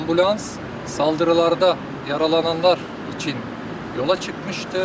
Ambulans saldırılarda yaralananlar üçün yola çıxmışdı.